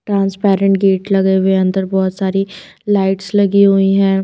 Transparent gate लगे हुए है अंदर बहोत सारी लाइट्स लगी हुई है।